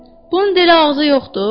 Bunun elə ağzı yoxdur?